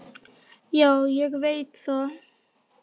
Já, ég veit það